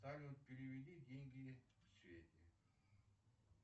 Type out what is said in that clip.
салют переведи деньги свете